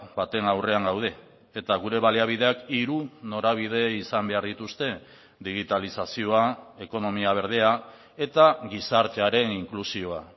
baten aurrean gaude eta gure baliabideak hiru norabide izan behar dituzte digitalizazioa ekonomia berdea eta gizartearen inklusioa